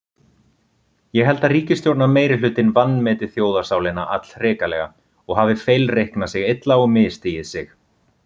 Ég held að ríkisstjórnarmeirihlutinn vanmeti þjóðarsálina allhrikalega og hafi feilreiknað sig illa og misstigið sig.